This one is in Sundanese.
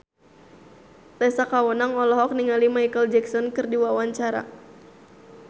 Tessa Kaunang olohok ningali Micheal Jackson keur diwawancara